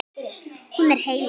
Hún er heilög.